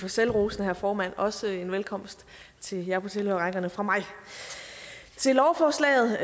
for selvrosende herre formand også en velkomst til jer på tilhørerrækkerne fra mig lovforslaget